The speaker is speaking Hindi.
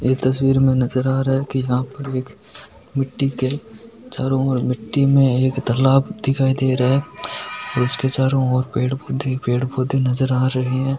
इस तस्वीर में नजर आ रहा है की यहा पर मिटटी के चारो ओर मिटटी के तालाब दिखाय दे रहा है उसके चारो और पेड़ पोधे पेड़ पोधे नजर आ रहा है।